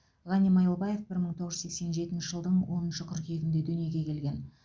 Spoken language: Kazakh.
ғани майлыбаев бір мың тоғыз жүз сексен жетінші жылдың оныншы қыркүйегінде дүниеге келген